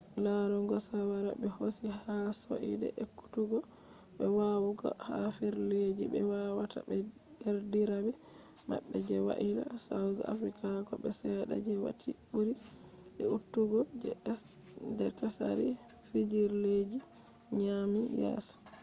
larugo shawara be hosi ha soide e’kutugo be wawugo ha fijirleji be wadata be derdirabe mabbe je waila, south africa ko be sedda je wati buri de’utukgo je tsari fijirleji nyami yeso